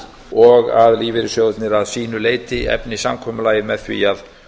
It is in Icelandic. og að lífeyrissjóðirnir að sínu leyti efni samkomulagið með því að